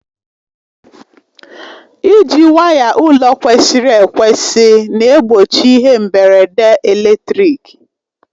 Iji waya ụlọ kwesịrị ekwesị na-egbochi ihe mgberede eletrik.